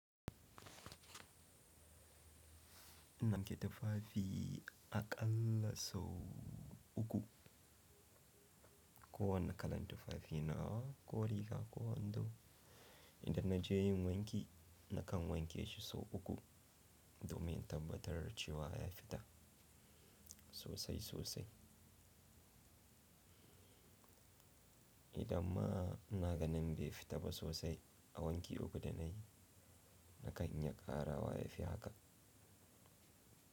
In wanke tufafi aƙalla sau uku, ko wane kalan tufafi na, ko riga ko wando, idan na je yin wanki nakan wanke shi sau uku, domin tabbatar da cewa ya fita sosai sosai. Idan ma ina ganin bai fita ba sosai a wanki uku da nayi, nakan iya ƙarawa ya fi haka.